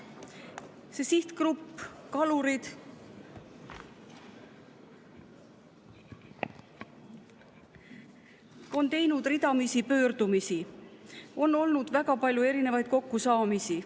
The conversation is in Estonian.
See sihtgrupp, kalurid, on teinud ridamisi pöördumisi, on olnud väga palju erinevaid kokkusaamisi.